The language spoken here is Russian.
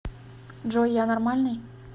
джой я нормальный